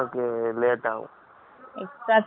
Extra time எடுக்கும், நம்மளும் tired ஆயிடுவேன்.